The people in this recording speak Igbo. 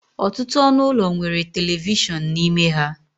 Ọtụtụ ọnụ ụlọ nwere telivishọn n'ime ha